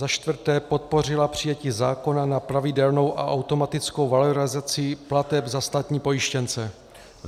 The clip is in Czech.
Za čtvrté: Podpořila přijetí zákona na pravidelnou a automatickou valorizaci plateb za státní pojištěnce.